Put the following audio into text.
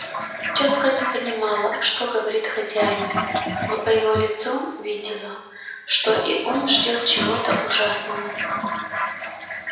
тётка не понимала что говорит хозяин но по его лицу видела что и он ждёт чего-то ужасного